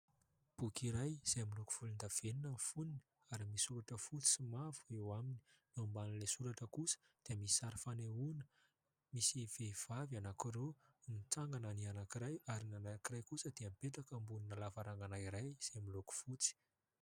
Boky iray izay miloko volondavenona ny fonony ary misy soratra fotsy sy mavo eo aminy. Eo ambanin'ilay soratra kosa dia misy sary fanehoana. Misy vehivavy anankiroa, mitsanagana ny anankiray ary ny anankiray kosa dia mipetraka ambonina lavarangana iray izay miloko fotsy.